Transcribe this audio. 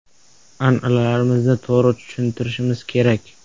“An’analarimizni to‘g‘ri tushuntirishimiz kerak.